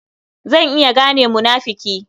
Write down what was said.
Zan iya gane munafuki.